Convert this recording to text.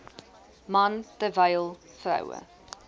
man terwyl vroue